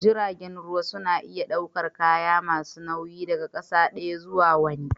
Jiragen ruwa na daukar kaya masu nauyi daga ƙasa daya zuwa wani